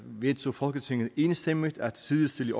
vedtog folketinget enstemmigt at sidestille